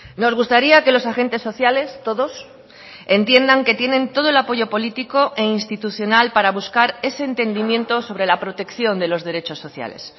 nos gustaría que los agentes sociales todos entiendan que tienen todo el apoyo político e institucional para buscar ese entendimiento sobre la protección de los derechos sociales